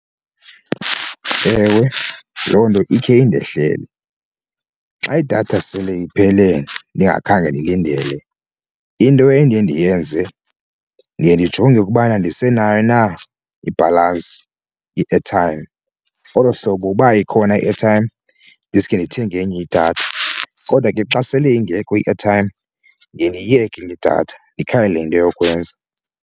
Ewe, loo nto ikhe indehlele. Xa idatha sele iphele ndingakhange ndilindele into endiye ndiyenze ndiye ndijonge ukubana ndisenayo na ibhalansi i-airtime, olo hlobo uba ikhona i-airtime ndiske ndithenge enye idatha. Kodwa ke xa sele ingekho i-airtime ndiye ndiyiyeke le idatha ndikhangele into yokwenza.